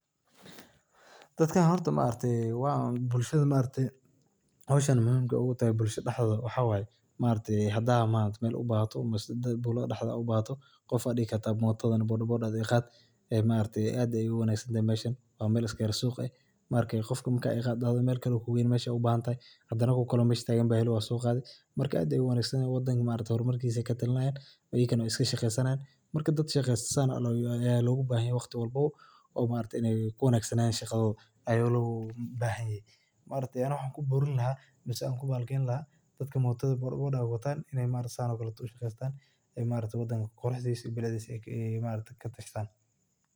Dadkan horta ma argate wa un bulshada ma aragte howshan muhim ogu tahay bulshada dhaxdeeda waxawaye ma aragte hadaa Mel ubahato misee bulada dhaxdeeda ad ubahato qof ad dhihi karta motan bodaboda iqaad ee ma aragte aad ayay uwanagsaantahay meshan waa Mel iska yar suq eh qofka marka iqaad dhahdo melkale uu kugeyni meshad ubahantahay hadana kukale oo mesha tagan bad heli wadso qadani marka aad ayay uwanaagsantahay wadanka hormarkiisa ayay katalinayan ayakana way iska shaqeesanayan marka dad shaqeesto San aya lugu bahan yahay waqti walbo oo ma aragtay in ay kuwanagsanadan shaqadooda aya loga bahan yahay.ma aragte aniga waxan kuborini laha mise anku bahalkiyeyn lahaa dadka motada bodaboda wataan inay ma aragte sidan oo kalete ushaqeystan ma aragte quruxdiisa iyo bilicdiisa ma aragte ay katashadaan